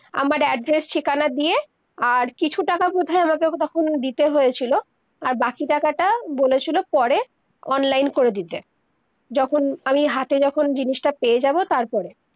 আমার address ঠিকানা দিয়ে আর কিছু টাকা বুধায় আমাকে তখন ওদেরকে দিতে হয়েছিলো আর বাকি টাকা তা বলেছিলো পরে online করে দিতে যখন আমি হাথে যখন জিনিস তা পেয়ে যাবো তার পরে-